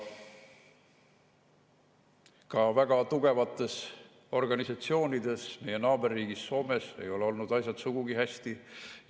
Ka väga tugevates organisatsioonides meie naaberriigis Soomes ei ole asjad olnud sugugi hästi.